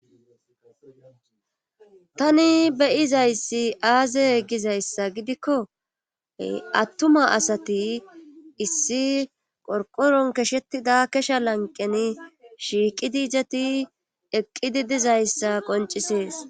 Tani beyizayssi aaze gizayssa gidikko attuma asati issi qorqoron keshetida kesha lanqeni shiiqidijati eqqidi dizayssa qoncisees